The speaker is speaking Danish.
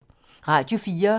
Radio 4